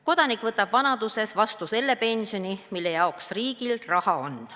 Kodanik võtab vanaduses vastu selle pensioni, mille jaoks riigil raha on.